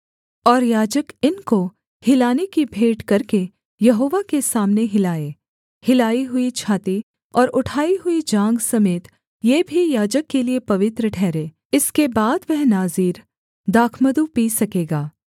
और याजक इनको हिलाने की भेंट करके यहोवा के सामने हिलाए हिलाई हुई छाती और उठाई हुई जाँघ समेत ये भी याजक के लिये पवित्र ठहरें इसके बाद वह नाज़ीर दाखमधु पी सकेगा